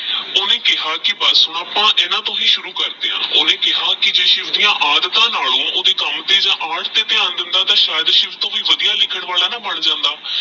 ਓਹਨੇ ਕੇਹਾ ਕੀ ਬਾਸ ਅਪ੍ਪਾ ਇਹਨਾ ਟੋਹ ਹੀ ਸ਼ੁਰੂ ਕਰਦੇ ਆਹ ਓਹਨੇ ਕੇਹਾ ਕੀ ਸ਼ਿਵ ਦੀ ਆਦ੍ਤਾਹ ਨਾਲੋ ਓਹਦੇ ਕਾਮ ਤੇਹ art ਤੇ ਧਯਾਨ ਦੇਂਦਾ ਤਹ ਅਜੇ ਸ਼ਾਯਦ ਸ਼ਿਵ ਟੋਹ ਵੀ ਵਾਦਿਯ ਲਿਖਣ ਵਾਲਾ ਨਾ ਬਣ ਜਾਂਦਾ